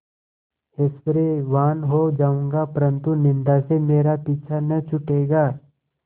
ऐश्वर्यवान् हो जाऊँगा परन्तु निन्दा से मेरा पीछा न छूटेगा